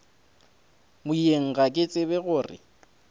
moyeng ga ke tsebe gore